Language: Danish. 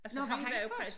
Nå var han først?